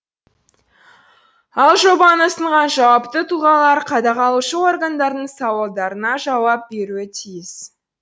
ал жобаны ұсынған жауапты тұлғалар қадағалушы органдардың сауалдарына жауап беруі тиіс